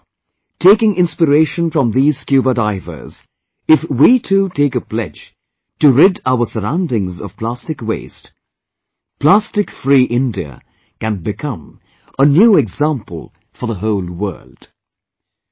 Pondering over, taking inspiration from these scuba divers, if we too, take a pledge to rid our surroundings of plastic waste, "Plastic Free India" can become a new example for the whole world